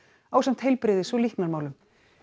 ásamt heilbrigðis og líknarmálum